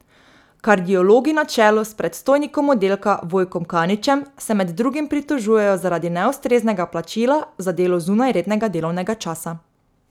Kardiologi na čelu s predstojnikom oddelka Vojkom Kaničem se med drugim pritožujejo zaradi neustreznega plačila za delo zunaj rednega delovnega časa.